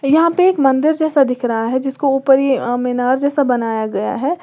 यहां पे एक मंदिर जैसा दिख रहा है जिसको ऊपरी अ मीनार जैसा बनाया गया है।